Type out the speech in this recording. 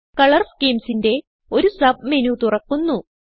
colour schemesന്റെ ഒരു submenu തുറക്കുന്നു